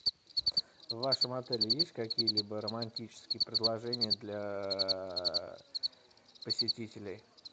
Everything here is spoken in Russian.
в вашем отеле есть какие либо романтические предложения для посетителей